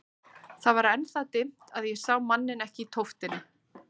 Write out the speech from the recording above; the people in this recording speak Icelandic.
Það var enn það dimmt að ég sá manninn ekki í tóftinni.